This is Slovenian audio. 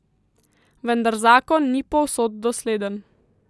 Vendar zakon ni povsod dosleden.